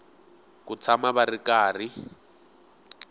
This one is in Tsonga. ku tshama va ri karhi